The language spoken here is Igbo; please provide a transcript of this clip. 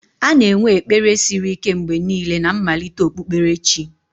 A na-enwe ekpere siri ike mgbe niile na mmalite okpukperechi.